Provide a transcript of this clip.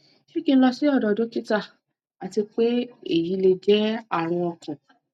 se ki n lo si odo dokita ati pe se eyi le je arun okan